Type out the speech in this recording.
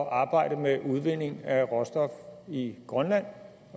at arbejde med udvinding af råstof i grønland